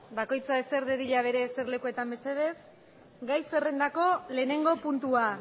bako itza eser de dilla bere ser lekuetan mesedes gai zerrendako lehenengo puntua